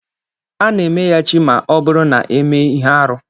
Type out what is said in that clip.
A na emeya chi ma ọ bụrụ na emee ihe arụ.